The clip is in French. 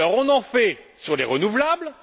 Alors, on en fait sur les renouvelables.